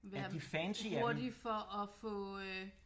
Være hurtig for at få øh